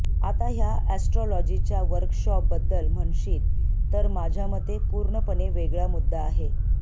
आता ह्या अॅस्ट्रॉलॉजीच्या वर्कशॉप बद्दल म्हणशील तर माझ्यामते पुर्णपणे वेगळा मुद्दा आहे